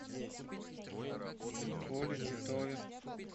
коле титове